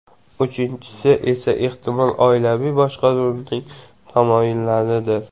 Uchinchisi esa, ehtimol, oilaviy boshqaruvning tamoyillaridir.